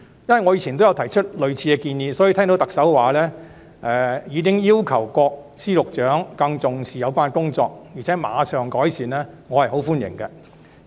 我以往也曾提出類似的建議，所以聽到特首說已要求各司局長更注重有關工作，並會馬上改善，我對此表示十分歡迎。